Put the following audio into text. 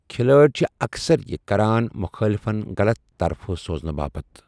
کھلٲڑۍ چھ اکثر یہِ کران مُخٲلفَن غلط طرفہٕ سوزٕنہٕ باپتھ ۔